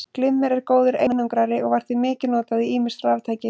Glimmer er góður einangrari og var því mikið notað í ýmis raftæki.